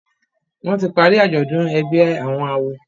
wón tí parí ajọdun ègbé àwọn àwo.